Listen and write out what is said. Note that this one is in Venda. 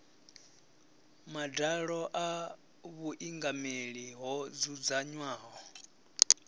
madalo a vhuingameli ho dzudzanywaho